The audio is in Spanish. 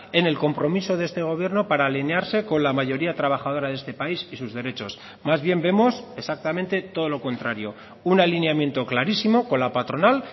en el compromiso de este gobierno para alinearse con la mayoría trabajadora de este país y sus derechos más bien vemos exactamente todo lo contrario un alineamiento clarísimo con la patronal